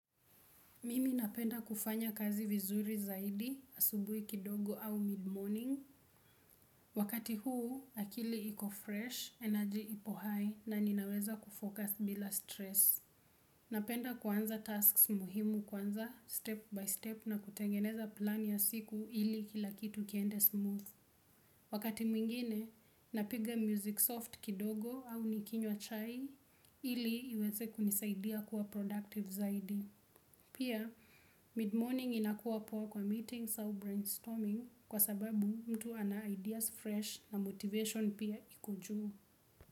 Mimi napenda kufanya kazi vizuri zaidi, asubui kidogo au mid-morning. Wakati huu akili iko fresh energy ipo high na ninaweza kufocus bila stress. Napenda kuanza tasks muhimu kwanza step by step na kutengeneza plan ya siku ili kilakitu kiende smooth. Wakati mwingine, napiga music soft kidogo au nikinywa chai ili iweze kunisaidia kuwa productive zaidi. Pia mid-morning inakua poa kwa meetings or brainstorming kwasababu mtu ana ideas fresh na motivation pia iko juu.